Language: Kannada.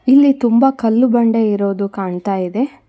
ಇಲ್ಲಿ ತುಂಬಾ ಕಲ್ಲು ಬಂಡೆ ಇರೋದು ಕಾಣ್ತಾ ಇದೆ.